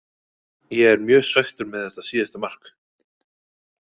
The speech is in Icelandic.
Ég er mjög svekktur með þetta síðasta mark.